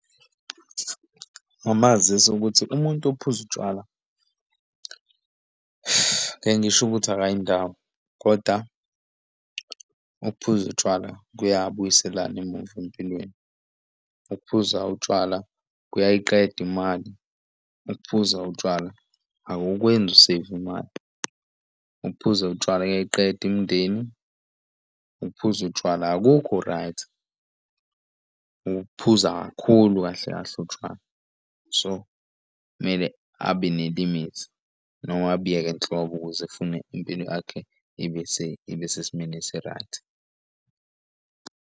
Ngamazisa ukuthi umuntu ophuza utshwala, ngeke ngisho ukuthi akayindawo, kodwa ukuphuza utshwala kuyabuyiselana emuva empilweni. Ukuphuza utshwala kuyayiqeda imali, ukuphuza utshwala akukwenzi useyive imali, ukuphuza utshwala kuyayiqeda imindeni, ukuphuza utshwala akukho right. Ukuphuza kakhulu kahle kahle utshwala, so kumele abe ne-limit noma abiyeke nhlobo ukuze efune impilo yakhe ibe ibe sesimweni esi-right.